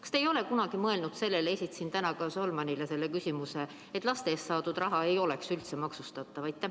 Kas te olete kunagi mõelnud sellele – ma esitasin täna ka Solmanile selle küsimuse –, et laste eest saadud raha ei oleks üldse maksustatav?